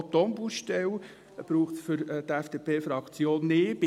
Auch die Ombudsstelle braucht es für die FDP-Fraktion nicht.